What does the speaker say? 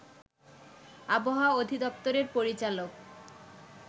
আবহাওয়া অধিদপ্তরের পরিচালক